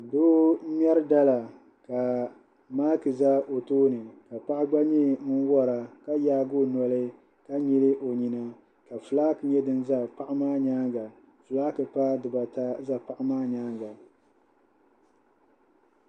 Doo m-ŋmɛri dala ka maaki za o tooni ka paɣa gba nyɛ ŋun wara ka yaagi o noli ka nyili o nyina kafulaaki nyɛ du za paɣa maa nyaaŋa fulaaki paai dibata n-za paɣa maa nyaaŋa